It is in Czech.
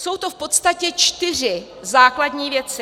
Jsou to v podstatě čtyři základní věci.